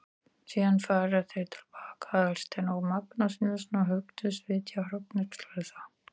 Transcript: Síðan fara þeir til baka, Aðalsteinn og Magnús Níelsson, og hugðust vitja hrognkelsa.